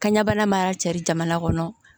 Kanɲɛ bana mana cari jamana kɔnɔ